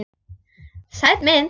Sæt mynd.